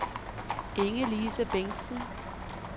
Inge-Lise Bengtsen